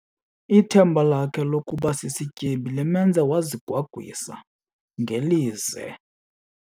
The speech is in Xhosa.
Ithemba lakhe lokuba sisityebi limenze wazigwagwisa ngelize.